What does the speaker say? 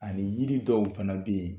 Ani yiri dɔw fana bɛ yen